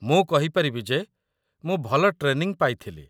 ମୁଁ କହିପାରିବି ଯେ ମୁଁ ଭଲ ଟ୍ରେନିଙ୍ଗ୍ ପାଇଥିଲି